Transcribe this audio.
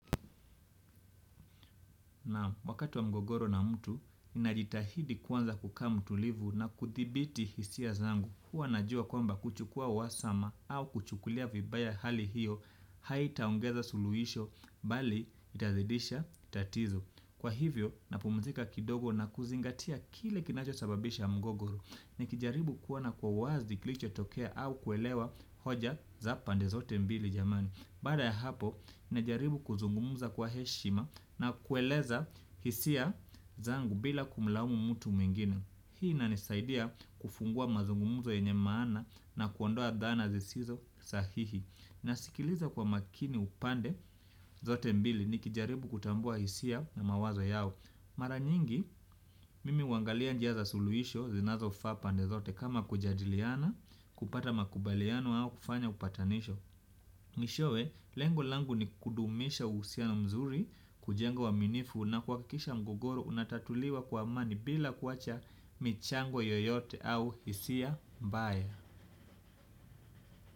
Wakati wa mgogoro na mtu, ninajitahidi kwanza kukaa mtulivu na kudhibiti hisia zangu. Huwa najua kwamba kuchukua uhasama au kuchukulia vibaya hali hiyo, haitaongeza suluisho, bali itazidisha, tatizo. Kwa hivyo, napumzika kidogo na kuzingatia kile kinachosababisha mgogoro. Nikijaribu kuona kwa uwazi kilichotokea au kuelewa hoja za pande zote mbili jamani. Baada ya hapo, najaribu kuzungumza kwa heshima na kueleza hisia zangu bila kumlaumu mtu mwingine. Hii inanisaidia kufungua mazungumuzo yenye maana na kuondoa dhana zisizo sahihi. Nasikiliza kwa makini upande zote mbili nikijaribu kutambua hisia na mawazo yao. Mara nyingi, mimi huangalia njia za suluhisho zinazofaa pande zote kama kujadiliana, kupata makubaliano au kufanya upatanisho. Mwishowe, lengo langu ni kudumisha uhusiano mzuri, kujengoa uaminifu na kuhakikisha mgogoro unatatuliwa kwa amani bila kuacha michango yoyote au hisia mbaya.